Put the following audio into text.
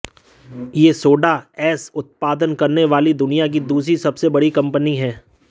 यह soda ash उत्पादन करने वाली दुनिया की दूसरी सबसे बड़ी कंपनी है